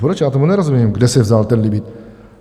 Proč, já tomu nerozumím, kde se vzal ten limit.